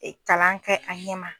Kalan kɛ an ɲɛ ma